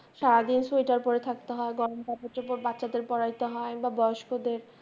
সারাদিন শোয়টার পরে থাকতে হয়, গরম চাপোড় বাচ্চাদের পড়ায়তে হয় বা বয়স্কদের